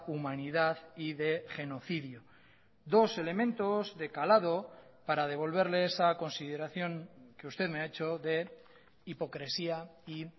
humanidad y de genocidio dos elementos de calado para devolverle esa consideración que usted me ha hecho de hipocresía y